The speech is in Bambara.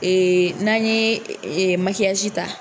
Ee n'an ye ee ta